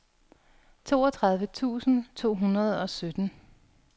toogtredive tusind to hundrede og sytten